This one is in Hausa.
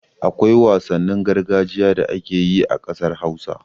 Akwai wasannin gargajiya da ake yi a ƙasar Hausa.